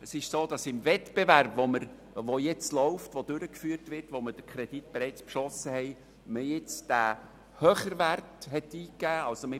Es ist so, dass man im Wettbewerb, der jetzt durchgeführt wird, und für welchen der Kredit bereits beschlossen wurde, den höheren Wert eingegeben hat.